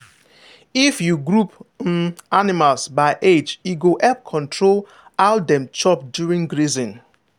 if you group um animals by age e go help control how dem chop during grazing.